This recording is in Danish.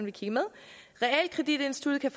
vil kigge med realkreditinstituttet kan